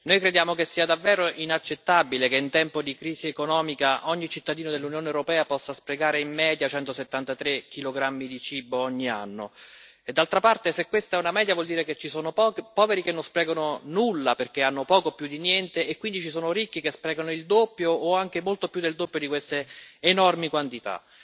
Signor Presidente, onorevoli colleghi, noi crediamo che sia davvero inaccettabile che in tempi di crisi economica ogni cittadino dell'Unione europea possa sprecare in media 173 chilogrammi di cibo ogni anno e, d'altra parte, se questa è una media, vuol dire che ci sono poveri che non sprecano nulla, perché hanno poco più di niente, e quindi ci sono ricchi che sprecano il doppio o anche molto più del doppio di queste enormi quantità.